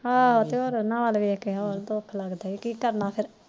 ਹਮ ਉਹਨਾਂ ਵੱਲ ਦੇਖ ਕੇ ਦੁਖ ਲੱਗਦਾ ਹੋਰ ਕੀ ਕਰਨਾ ਫਿਰ